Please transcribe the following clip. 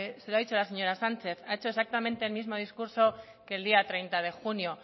se la ha dicho la señora sánchez ha hecho exactamente el mismo discurso que el día treinta de junio